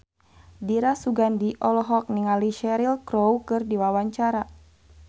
Dira Sugandi olohok ningali Cheryl Crow keur diwawancara